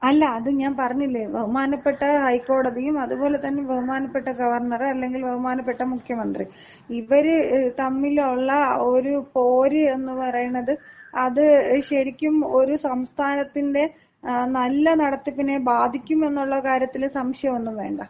അല്ല, അത് ഞാൻ പറഞ്ഞില്ലേ, ബഹുമാനപ്പെട്ട ഹൈക്കോടതിയും അതുപോലെ തന്നെ ബഹുമാനപ്പെട്ട ഗവർണറ് അല്ലെങ്കിൽ ബഹുമാനപ്പെട്ട മുഖ്യമന്ത്രി, ഇവര് തമ്മിലുള്ള ഒരുപോര് എന്ന് പറയണത് അത് ശരിക്കും ഒരു സംസ്ഥാനത്തിന്‍റെ നല്ല നടത്തിപ്പിനെ ബാധിക്കും എന്നുള്ള കാര്യത്തില് സംശയമൊന്നും വേണ്ട.